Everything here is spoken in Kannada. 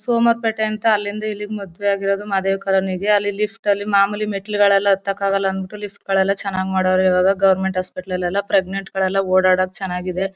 ಸೋಮಾರ್ ಪೇಟೆ ಅಂತ ಅಲ್ಲಿಂದ ಇಲ್ಲಿ ಮದ್ವೆ ಆಗಿರೋದು ಮಹದೇವ್ ಕಾಲೋನಿ ಗೆ. ಅಲ್ಲಿ ಲಿಫ್ಟ್ ಅಲ್ಲಿ ಮಾಮೂಲಿ ಮೆಟ್ಲುಗಳೆಲ್ಲ ಹತ್ತಕ್ ಆಗಲ್ಲ ಅಂದ್ಬಿಟು ಲಿಫ್ಟ್ ಗಳೆಲ್ಲ ಚನಾಗ್ ಮಾಡೋರ್ ಇವಾಗ. ಗವರ್ನಮೆಂಟ್ ಹಾಸ್ಪಿಟಲ್ ಅಲ್ಲೆಲ್ಲ ಪ್ರಜ್ನೆನ್ಟ್ ಗಳೆಲ್ಲ ಓಡ್ ಅಡಕೆಲ್ಲ ಚೆನಾಗಿದೆ.